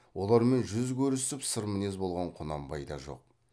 олармен жүз көрісіп сырмінез болған құнанбай да жоқ